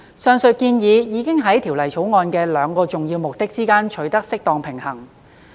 上述建議已在《條例草案》的兩個重要目的之間取得適當平衡。